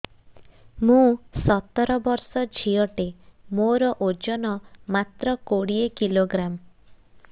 ମୁଁ ସତର ବର୍ଷ ଝିଅ ଟେ ମୋର ଓଜନ ମାତ୍ର କୋଡ଼ିଏ କିଲୋଗ୍ରାମ